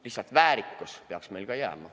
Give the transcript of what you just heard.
Lihtsalt väärikus peaks jääma.